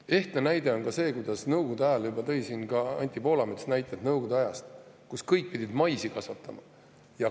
Ehtne näide on ka see – Anti Poolamets tõi siin ka näite Nõukogude ajast –, kuidas Nõukogude ajal pidid kõik maisi kasvatama.